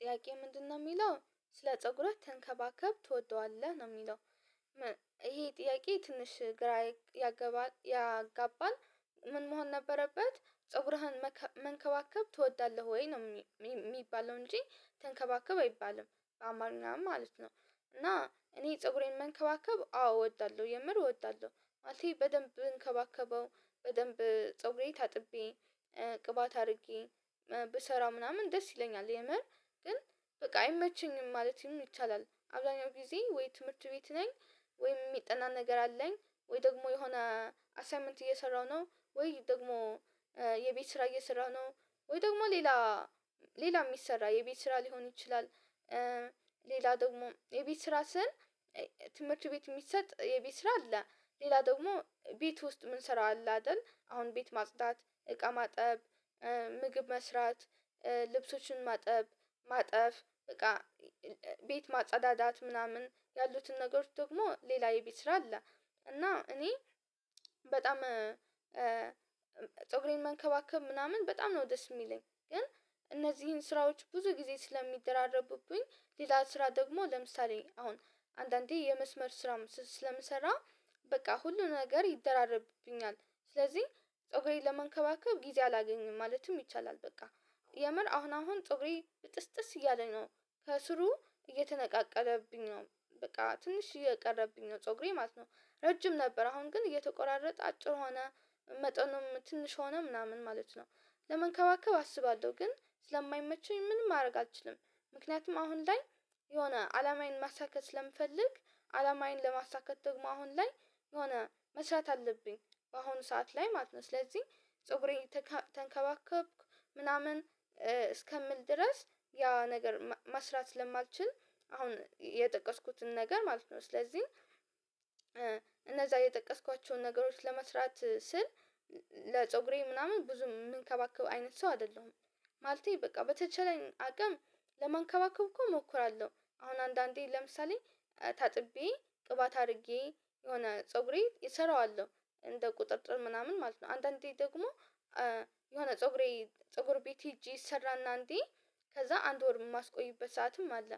ጥያቄ ምንድነው የሚለው ስለ ፀጉር ተንከባከብ ትወደዋለህ ነው የሚለው? ጥያቄ ትንሽ ግራ ያገባል ያጋባል። ምን መሆን ነበረበት ፀጉርህን መንከባከብ ትወዳለህ ወይ ነው የሚባለው እንጂ? ተንከባከብ አይባልም አማርኛ ማለት ነው። እና እኔ ፀጉሬን መንከባከብ አው እወዳለሁ የምር እወዳለሁ ማለቴ በደንብ ብንከባከበው በደንብ ፀጉሬ ታጥቤ ቅባት አድርጌ ብሰራ ምናምን ደስ ይለኛል የመር። ግን በቃ አይመቸኝም ማለት ይሆናል ይቻላል። አብዛኛው ጊዜ ወይ ትምህርት ቤት ነኝ። ወይም የሚጠና ነገር አለኝ። ወይ ደግሞ የሆነ አሳይመንት እየሰራሁ ነው ወይ ደግሞ የቤት ስራ የሰራ ነው። ወይ ደግሞ ሌላ ሌላ የሚሰራ የቤት ስራ ሊሆን ይችላል። ሌላ ደግሞ የቤት ስራ ስል ትምህርት ቤት የሚሰጥ የቤት ስራ አለ። ሌላ ደግሞ ቤት ውስጥ የምንሰራው አለ አይደል አሁን ቤት ማጽዳት እቃ ማጠብ ምግብ መስራት ልብሶችን ማጠብ ማጠፍ በቃ ቤት ማጸዳዳት ምናምን ያሉትን ነገሮች ደግሞ ሌላ የቤት ስራ አለ። እና እኔ በጣም ፀጉሬን መንከባከብ ምናምን በጣም ነው ደስ የሚለኝ ግን። እነዚህን ስራዎች ብዙ ጊዜ ስለሚደራረቡብኝ ሌላ ስራ ደግሞ ለምሳሌ አሁን አንዳንዴ የመስመር ስራ ስለምሰራ በቃ ሁሉ ነገር ይደራረብብኛል። ስለዚህ ፀጉሬን ለመንከባከብ ጊዜ አላገኝም ማለትም ይቻላል። በቃ የመር አሁን አሁን ፀጉሬ ብጥስጥስ እያለ ነው ከስሩ እየተነቃቀለብኝ ነው በቃ ትንሽ እየቀረብኝ ነው ፀጉሬ ማለት ነው። ረጅም ነበር አሁን ግን እየተቆራረጠ አጭር ሆነ መጠኑም ትንሽ ሆነ ምናምን ማለት ነው። ለመንከባከብ አስባለሁ ግን ስለማይመቸኝ ምንም ማድረግ አልችልም። ምክንያቱም አሁን ላይ የሆነ አላማዬን ማሳካት ስለምፈልግ አላማዬን ለማሳካት ደግሞ አሁን ላይ የሆነ መስራት አለብኝ። በአሁኑ ሰዓት ላይ ማለት ነው ስለዚህ ፀጉሬን ተንከባከብኩ ምናምን እስከምል ድረስ ያ ነገር መስራት ስማልችል አሁን የጠቀስኩትን ነገር ማለት ነው ስለዚህ። እነዛ የጠቀስኳቸውን ነገሮች ለመስራት ስል ለፀጉሬ ምናምን ብዙ የምንከባከብ የምንከባከበው አይነት ሰው አይደለሁም። ማለቴ በቃ በተቻለኝ አቅም ለማንከባከብ እኮ እሞክራለሁ። አሁን አንዳንዴ ለምሳሌ ታጥቤ ቅባት አድርጌ የሆነ ፀጉሬን እሰራዋለሁ እንደ ቁጥጥር ምናምን ማለት ነው። አንዳንዴ ደግሞ የሆነ ፀጉሬ ፀጉር ቤት ሄጄ ሰራና እንዴ? ከዛ አንድ ወር የማስቆይበት ሰዓትም አለ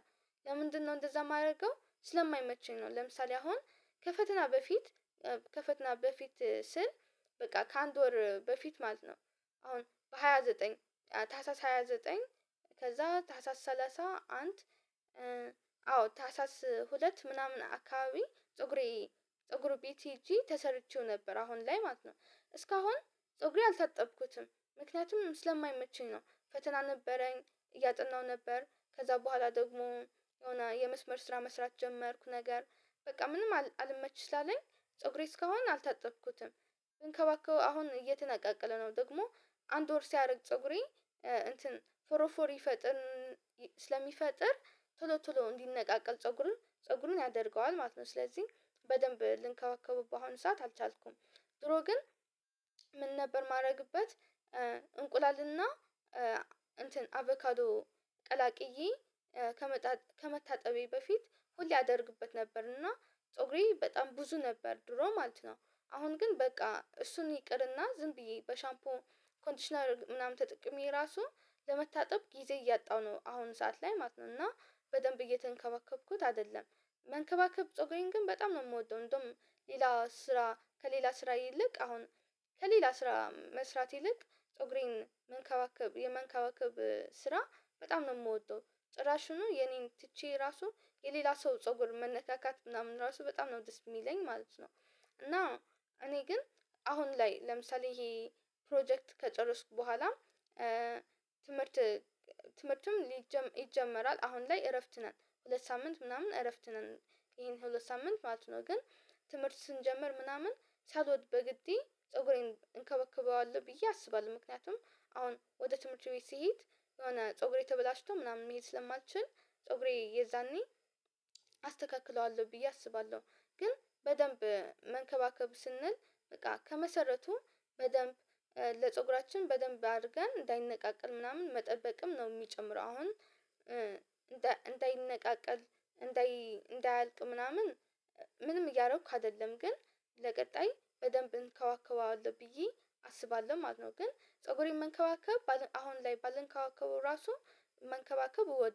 ለምንድነው እንደዛ የማደርገው ስለማይመቸኝ ነው። ለምሳሌ አሁን ከፈተና በፊት ከፈተና በፊት ስል በቃ ከአንድ ወር በፊት ማለት ነው። አሁን በሃያ ዘጠኝ ታህሳስ ሃያ ዘጠኝ ከዛ ታህሳስ ሰላሳ አንድ አዎ ታህሳስ ሁለት ምናምን አካባቢ ፀጉሬ ፀጉር ቤት ሄጄ ተሰርቼው ነበር አሁን ላይ ማለት ነው። እስካሁን ፀጉሬ አልታጠብኩትም። ምክንያቱም ስለማይመቸኝ ነው ፈተና ነበረኝ። እያጠናሁ ነበር ከዛ በኋላ ደግሞ የሆነ የመስመር ስራ መስራት ጀመርኩ ነገር በቃ ምንም አልመች ስላለኝ ፀጉሬ እስካሁን አልታጠብኩትም። ግን ከባክህ አሁን የትን አቃቅለህ ነው ደግሞ አንድ ወር ሲያደርግ ፀጉሬ እንትን ፎሮ ፎር ይፈጥር ስለሚፈጥር ቶሎ ቶሎ እንዲነቃቀል ፀጉሩን ፀጉሩን ያደርገዋል ማለት ነው ስለዚህ በደንብ ልንከባከቡበት ሰዓት አልቻልኩም። ድሮ ግን ምን ነበር ማድረግበት? እንቁላልና እንትን አቫካዶ ቀላቅዬ ከመታጠቤ በፊት ሁሌ ያደርግበት ነበር። እና ፀጉሬ በጣም ብዙ ነበር ድሮ ማለት ነው። አሁን ግን በቃ እሱን ይቅርና ዝም ብዬ በሻምፖን ኮንዲሽነር ምናምን ተጠቅሜ ራሱ ለመታጠብ ጊዜ እያጣው ነው አሁን ሰዓት ላይ ማለት ነው። እና በደንብ እየተንከበከብኩት አይደለም። መንከባከብ ፀጉሬን ግን በጣም ነው የምወደው እንደውም ሌላ ስራ ከሌላ ስራ ይልቅ አሁን ከሌላ ስራ መስራት ይልቅ ፀጉሬን መንከባከብ የመንከባከብ ስራ በጣም ነው የምወደው ጥራሹኑ የኔን ትቼ ራሱ የሌላ ሰው ፀጉር መነካካት ምናምን ራሱ በጣም ነው ደስ የሚለኝ ማለት ነው። እና እኔ ግን አሁን ላይ ለምሳሌ ይሄ ፕሮጀክት ከጨረስኩ በኋላ ትምህርት ትምህርቱም ይጀመራል አሁን ላይ እረፍት ነን ሁለት ሳምንት ምናምን እረፍት ነን። ይሄን ሁለት ሳምንት ማለት ነው ግን። ትምህርት ስንጀምር ምናምን ሳልወድ በግዴ ፀጉሬን እንከባከበዋለሁ ብዬ አስባለሁ ምክንያቱም አሁን ወደ ትምህርት ቤት ስሄድ የሆነ ፀጉሬ ተበላሽቶ ምናምን መሄድ ስለማልችል ፀጉሬ የዛኔ አስተካክለዋለሁ ብዬ አስባለሁ። ግን በደንብ መንከባከብ ስንል በቃ ከመሰረቱም በደንብ ለፀጉራችን በደንብ አድርገን እንዳይነቃቀል ምናምን መጠበቅም ነው የሚጨምረው አሁን። እንዳይነቃቀል እንዳይ እንዳያልቅ ምናምን ምንም እያደረኩ አይደለም ግን ለቀጣይ በደንብ እንከባከበዋለሁ ብዬ አስባለሁ ማለት ነው። ግን ፀጉሬን መንከባከብ አሁን ላይ ባልንከባከበው ራሱ መንከባከብ እወደዋለሁ